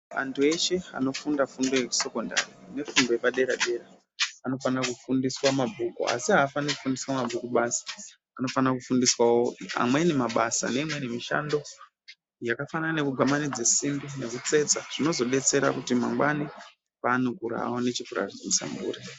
Antu eshe anofunda fundo yeku sekendari ne fundo yepa dera dera anofanira kufundiswa mabhuku asa afaniri kufundiswa mabhuku basi anofana kufundiswa amweni mabasa ne imweni mishando yaka fanana neku gwamanidze simbi neku tsetsa zvinozo detsera kuti mangwani vaone cheku raramisa mburi.